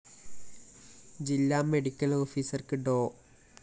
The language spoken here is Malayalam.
ജില്ലാ മെഡിക്കൽ ഓഫീസർ ഡോ